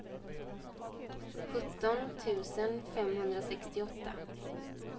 sjutton tusen femhundrasextioåtta